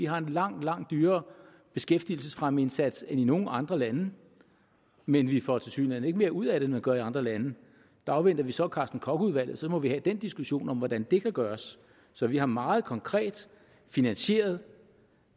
har en langt langt dyrere beskæftigelsesfremmeindsats end nogen andre lande men vi får tilsyneladende ikke mere ud af det end man gør i andre lande der afventer vi så carsten koch udvalget og så må vi have den diskussion om hvordan det kan gøres så vi har meget konkret finansieret